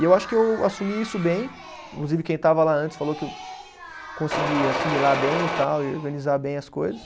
E eu acho que eu assumi isso bem, inclusive quem estava lá antes falou que eu consegui assimilar bem e tal, e organizar bem as coisas.